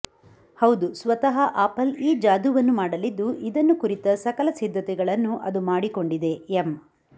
ಹೌದು ಸ್ವತಃ ಆಪಲ್ ಈ ಜಾದೂವನ್ನು ಮಾಡಲಿದ್ದು ಇದನ್ನು ಕುರಿತ ಸಕಲ ಸಿದ್ಧತೆಗಳನ್ನು ಅದು ಮಾಡಿಕೊಂಡಿದೆ ಎಂ